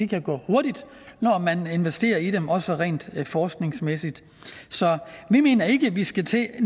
kan gå hurtigt når man investerer i dem også rent forskningsmæssigt så vi mener ikke at vi skal til